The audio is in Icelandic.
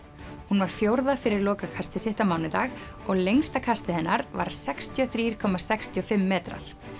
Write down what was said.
hún var fjórða fyrir sitt á mánudag og lengsta kastið hennar var sextíu og þrjú komma sextíu og fimm metrar